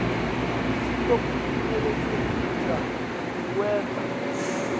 lusito kucinisekisa kuwenta